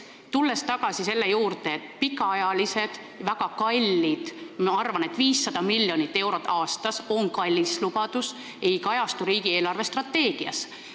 Pikaajalised ja väga kallid lubadused – ma arvan, et 500 miljonit eurot aastas on kallis lubadus – ei kajastu riigi eelarvestrateegias.